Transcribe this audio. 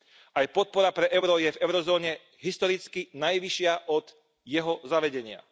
Aj podpora pre euro je v eurozóne historicky najvyššia od jeho zavedenia.